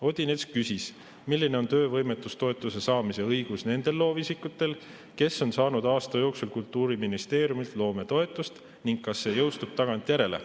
Odinets küsis, milline on töövõimetoetuse saamise õigus nendel loovisikutel, kes on saanud aasta jooksul Kultuuriministeeriumilt loometoetust, ning kas see jõustub tagantjärele.